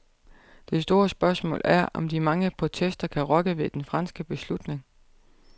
Det store spørgsmål er, om de mange protester kan rokke ved den franske beslutning.